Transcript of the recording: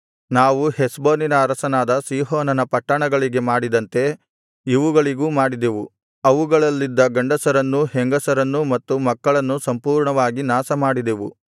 ನಾವು ಹೆಷ್ಬೋನಿನ ಅರಸನಾದ ಸೀಹೋನನ ಪಟ್ಟಣಗಳಿಗೆ ಮಾಡಿದಂತೆ ಇವುಗಳಿಗೂ ಮಾಡಿದೆವು ಅವುಗಳಲ್ಲಿದ್ದ ಗಂಡಸರನ್ನೂ ಹೆಂಗಸರನ್ನೂ ಮತ್ತು ಮಕ್ಕಳನ್ನೂ ಸಂಪೂರ್ಣವಾಗಿ ನಾಶಮಾಡಿದೆವು